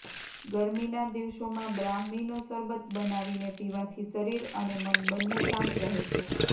ગરમીના દિવસોમા બ્રાહ્મીનો શરબત બનાવીને પીવાથી શરીર અને મન બંને શાંત રહે છે